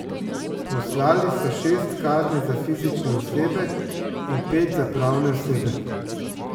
Poslali so šest kazni za fizične osebe in pet za pravne osebe.